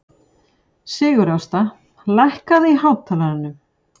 Sigurásta, lækkaðu í hátalaranum.